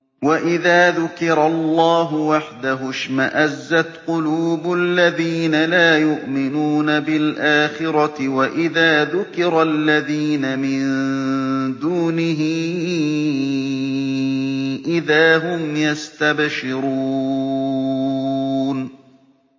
وَإِذَا ذُكِرَ اللَّهُ وَحْدَهُ اشْمَأَزَّتْ قُلُوبُ الَّذِينَ لَا يُؤْمِنُونَ بِالْآخِرَةِ ۖ وَإِذَا ذُكِرَ الَّذِينَ مِن دُونِهِ إِذَا هُمْ يَسْتَبْشِرُونَ